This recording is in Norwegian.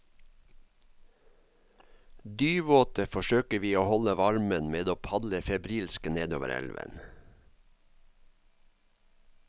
Dyvåte forsøker vi å holde varmen med å padle febrilsk nedover elven.